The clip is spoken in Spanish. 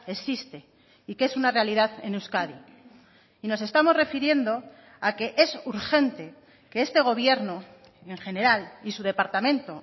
existe y que es una realidad en euskadi y nos estamos refiriendo a que es urgente que este gobierno en general y su departamento